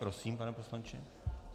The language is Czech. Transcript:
Prosím, pane poslanče.